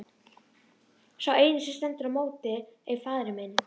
Og sá eini sem stendur í móti er faðir minn!